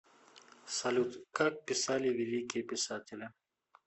салют как писали великие писатели